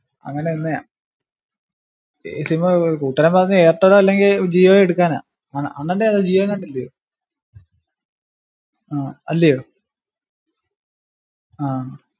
അങ്ങനന്നെയാ ഈ sim ഏർ കൂട്ടുകാരൻ പറഞ്ഞ് ഏയർടെൽ അല്ലെങ്കിൽ ജിയോ എടുക്കാനാ അണ്ണാന്റെ ഏതാ ജിയോ എങ്ങാണ്ട്ല്ല്യോ ആഹ് അല്ല്യോ ആഹ്